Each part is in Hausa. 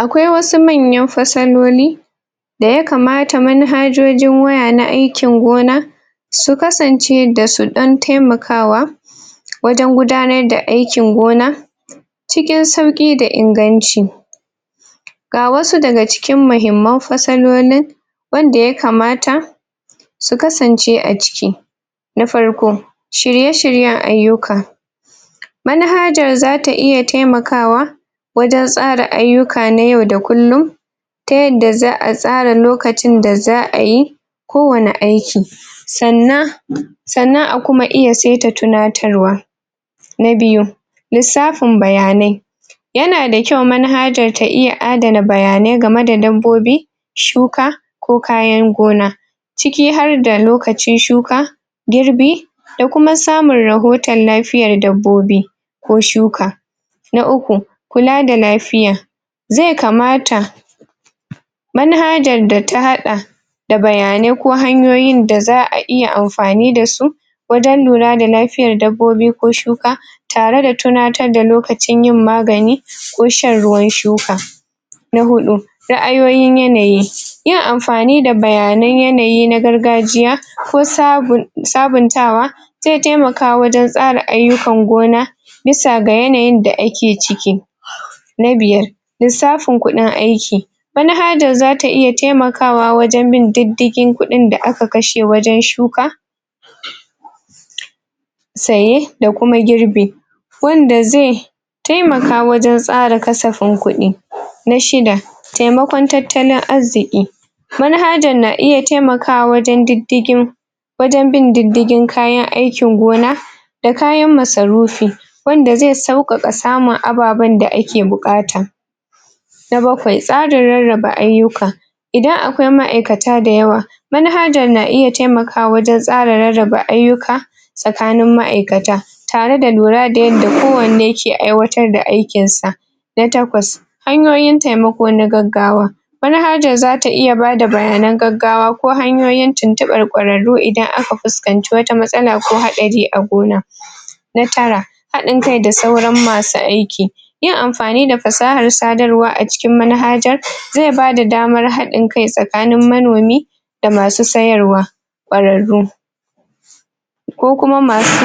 Akwai wasu manyan fasaloli da ya kamata man hajojin waya na aikin gona su kasance da su dan taimakawa wajen gudanar da aikin gona cikin sauki da inganci ga wasu daga cikin mahimman fasalolin wanda ya kamata su kasance a ciki na farko shirye shiryen aiyuka man hajar zata iya taimakawa wajen tsara aiyuka na yau da kullun ta yadda za'a tsara lokacin da za'a yi ko wani aiki sannan sannan a kuma iya seta tunatarwa na biyu lissafin bayanai yana da kyau man hajar ta iya adana bayanai game da dabbobi shuka ko kayan gona cikin harda lokaci shuka girbi da kuma samun rahotan lafiyar dabbobi ko shuka na uku kula da lafiya ze kamata man hajar da ta hada da bayanai ko hanyoyin da za'a iya amfani dasu wajen lura da lafiyan dabbobi ko shuka tare da tunatar da lokacin yin magani ko shan ruwan shuka na hudu sa'ayoyin yanayi yin amfani da bayanan yanayi na gargajiya ko sabuntawa ze taimaka wajen tsara aiyukan gona bisa ga yanayin da ake ciki na biyar lissafin kuɗin aiki man hajar zata iya tai makawa wajen bin ɗiɗigin kuɗin da aka wajen shuka saye da kuma girbe wanda ze taimaka wajen tsara kasafin kuɗi na shida taimakon tattalin arziki man hajar na iya taimaka wa wajen ɗiddigin wajen bin ɗiddigin kayan aikin gona da kayan masa rufi wanda ze saukaka samun ababun da ake bukata na bakwai tsarin rarraba aiyuka idan akwai ma'aikata da yawa man hajar na iya taimaka wajen tsara rarraba aiyuka tsakanin ma'aikata tare da lura da yadda kowanne ke aiwatar da aikin sa na takwas hanyoyin taimako na gaggawa man hajar zata iya bada bayanan gaggawa ko hanyoyin tuntubar ƙwararru idan aka fuskanci wata matsala ko haɗari a gona na tara hadin kai da saura masu aiki yin amfani da fasahar sadarwa a cikin man hajar ze bada daman hadin kai tsakanin manomi da masu sayarwa ƙwararru ko kuma masu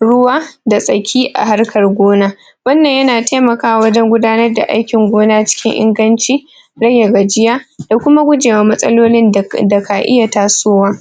ruwa da saki a harkan gona wannan yana taimakawa wajen gudanar da aikin gona cikin inganci rage gajiya da kuma guje wa matsalolin da kan iya tasowa